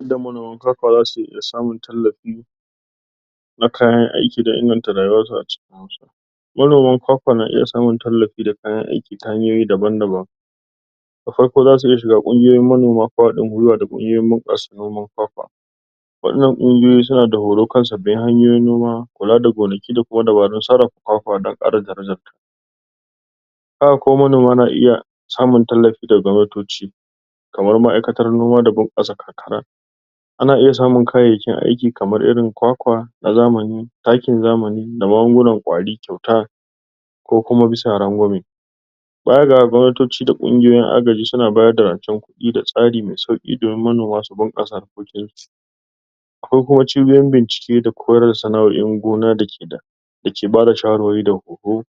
yadda manoman kwakwa zasu iya samun tallafi na kayan aiki da inganta rayuwarsu a cikinsu manoman kwakwa na iya samun tallafi da kayan aiki ta hanyoyi daban daban da farko zasu iya shiga kungiyoyin manoma ko hadin gwiwa da kungiyoyin bunqasa noman kwakwa wadannan kungiyoyi suna da horo kan subi hanyoyin noma kula da gonaki da dabarun sararrafa kwakwa domin kara darajarta haka kuma manoma na iya tallafi daga gwamnatoci kamar ma'aikatar noma da bunqasa karkara ana iya samun kayyakin aiki na zamani kamar su kwakwa na zamani taki na zamani da magungunan qwari kyauta ko kuma bisa rangwame baya da haka gwamnatoci da kungiyoyin agaji suna bada rancen kudi da tsari me sauki domin manoma su bunqasa harkokinsu akwai kuma chibiyoyin bincike da kore sana'oin gona da ke da dake bada shawarwari da horo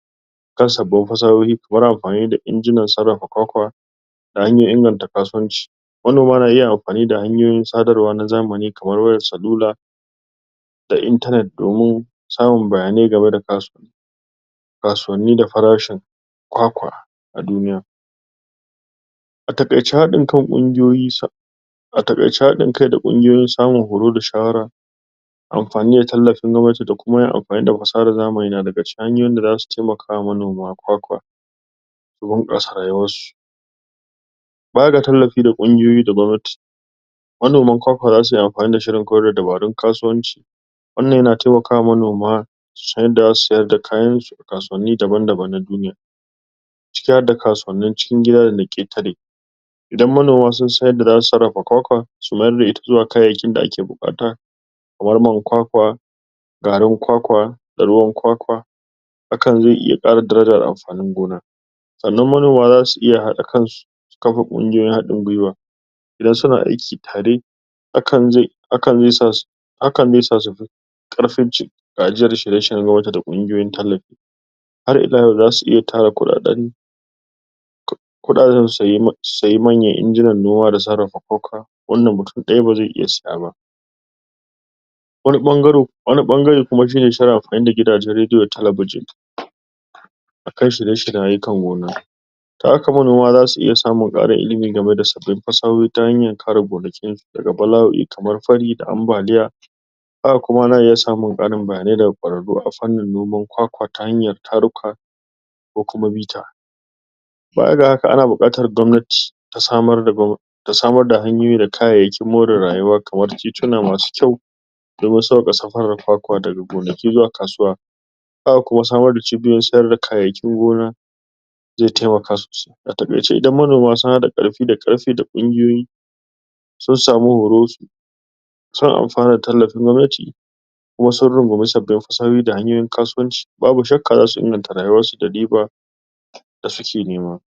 kar su bar sahohi wurin amfani da inginan sarrafa kwakwa da da hanyoyin inganta kasuwanci manoma na iya amfani da hanyoyin sadarwa na zamani kamar wayar salula da internet domin samun bayanai game da kasuwanni da farashin kwakwa a duniya a taqaice hadin kan kungiyoyi a taqaice hadin kai da kungiyoyi da samar da horo da shawara amfani da tallafin noma da kuma yin amfani da fasahan zamani na daga cikin hanyoyin da zasu taimaka ma manoman kwakwa su bunqasa rayuwansu baya da tallafi da kungiyoyi da gwamnati manoman kwakwa zasuyi amfani da shirin kore dabarun kasuwanci wannan yana taimakawa ma manoma su san yadda zasu sayar da kayansu kasuwanni daban daban na duniya ciki har da na kasuwanni cikin gida da ketare idan manoma sun sa yadda zasu sarrafa kwakwa su mayar da ita zuwa kayayyakin da ake bukata kamar man kwa kwa garin kwakwa ruwan kwakwa hakan zai iya kara darajar amfanin gona sannan manoma zasu iya hada kansu su kafa kungiyoyin hadin kan gwiwa idan suna aiki tare hakan ze hazan zai sa hakan zai sa sufi karfin gajiyar shirye da kungiyoyin tallafi har ila yau zasu iya tara kudaden kudaden su saye manyan injinan noma da sarrafa kwakwa wannan mutum dayaba zai iya siya ba wani bangare wani bangare kuma shine suna amfani da gidan rediyo da talabijin akan shirye shiryen ayyukan gona da haka manoma zasu iya samun karin ilimin da fashohi ta hanyan kare gonakinsu daga bala'oi kamar fari da ambaliya haka kuma ana iya samun karin bayanai daga kwararru ta fannin noman kwakwa ta hanyan taru ka ko kuma mita baya da haka ana bukatar gwamnati ta samar da da hanyoyi da kayayyakin more rayuwa kamar tituna masu kyau domin sauwake safaran kwakwa daga gonaki zuwa kasuwa haka kuma samar da chibiyoyin siyar da kayyayakin gona zai taimaka sosai a takaice idan manoma sun hada karfi da karfe da kungiyoyi sun samu hoto sun amfana da tallafin gwamnati kuma sun rungumi sabbin fasahohi da kasuwanci babu shakka zasu inganta rayuwarsu da riba da suke nema